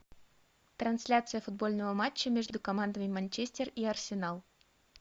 трансляция футбольного матча между командами манчестер и арсенал